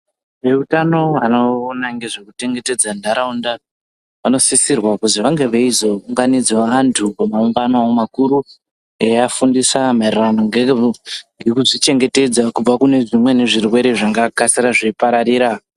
Veutano vanoona ngezvekuchengetedza ndaraunda vanosisirwa kuzi vange veizounganidza vantu pamaungano makuru veiafundisa maererano ngekuzvichengetedza kubva kune zvimweni zvirwere zvingakasira zveipararira.